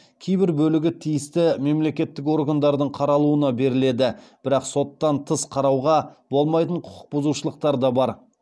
кейбір бөлігі тиісті мемлекеттік органдардың қаралуына беріледі бірақ соттан тыс қарауға болмайтын құқық бұзушылықтар да бар